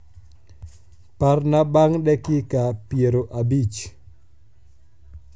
parna bang dakika piero abich